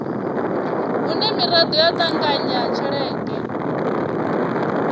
hune miraḓo ya ṱanganya tshelede